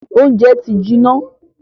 Óúnjẹ ti jiná.